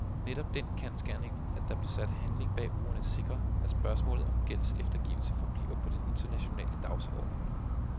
Netop den kendsgerning, at der blev sat handling bag ordene, sikrer, at spørgsmålet om gældseftergivelse forbliver på den internationale dagsorden.